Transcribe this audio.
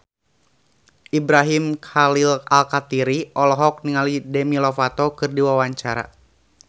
Ibrahim Khalil Alkatiri olohok ningali Demi Lovato keur diwawancara